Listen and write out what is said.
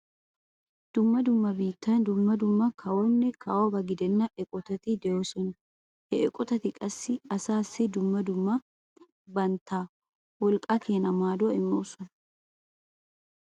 Dumma dumma biittan dumma dumma kawobanne kawoba gidenna eqotati de'oosona. Ha eqotati qassi asaassi dumma dumma bantta woqqaa keena maaduwa immoosona.